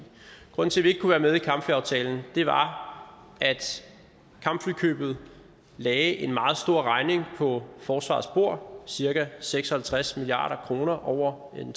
grunden til at vi ikke kunne være med i kampflyaftalen var at kampflykøbet lagde en meget stor regning på forsvarets bord cirka seks og halvtreds milliard kr over en